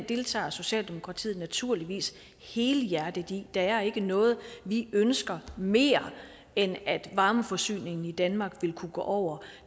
deltager socialdemokratiet naturligvis helhjertet i der er ikke noget vi ønsker mere end at varmeforsyningen i danmark vil kunne gå over